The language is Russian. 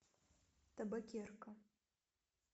табакерка